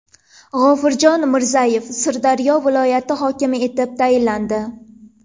G‘ofurjon Mirzayev Sirdaryo viloyati hokimi etib tayinlandi.